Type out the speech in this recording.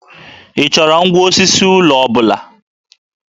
Ị chọrọ ngwá osisi ụlọ ọ bụla?